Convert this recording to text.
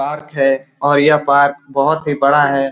Park है और यह पार्क बहुत ही बड़ा है।